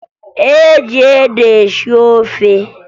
E ji ede esi ofe